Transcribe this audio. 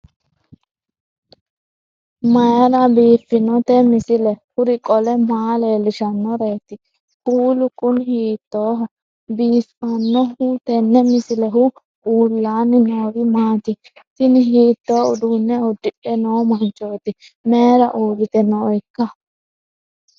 mayra biiffinote misile? kuri qole maa leellishannoreeti? kuulu kuni hiittooho biifannoho tenne misilehu? uullaanni noori maati? tini hiitto uduunne uddidhe noo manchooti mayra uurrite nooikka